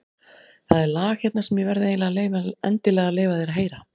Það er lag hérna sem ég verð endilega að leyfa þér að heyra.